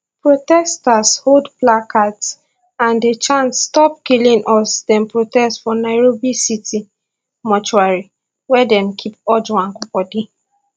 protesters hold placards and dey chant stop killing us dem protest for nairobi city mortuary wia dem keep ojwang body